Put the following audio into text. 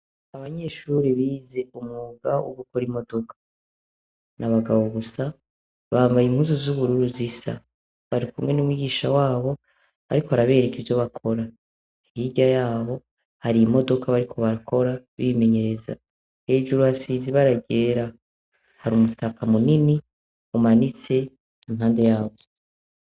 Abanyeshure bize umwuga w'ugukora imodokaa ni abagabo gusa bambaye imkuzu z'ubururu zisa bari kumwe n'umwigisha wabo, ariko arabereka iyo bakora ahirya yabo hariye imodoka bari ko bakora bimenyereza hejuru hasizi ibaragera hari umutaka munini umanitse impande yawo.